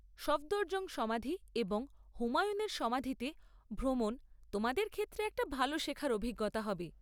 সফদরজং সমাধি এবং হুমায়ুনের সমাধিতে ভ্রমণ তোমাদের ক্ষেত্রে একটা ভালো শেখার অভিজ্ঞতা হবে।